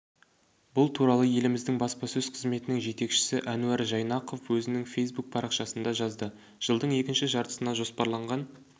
бұл туралы еліміздің баспасөз қызметінің жетекшісі әнуар жайнақов өзінің фейсбук парақшасында жазды жылдың екінші жартысына жоспарланған